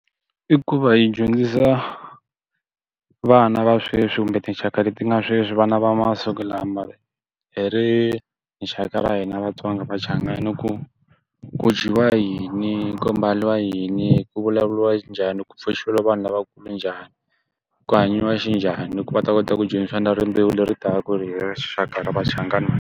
I ku va hi dyondzisa vana va sweswi kumbe tinxaka leti nga sweswi vana va masiku lama hi ri rixaka ra hina vatsongamachangana. Ku ku dyiwa yini, ku mbariwa yini, ku vulavuriwa njhani ku pfuxeriwa vanhu lavakulu njhani. Ku hanyiwa xi njhani ku va ta kota ku dyondzisa na rimbewu leri ta ku hi hi ri rixaka ra vachangana.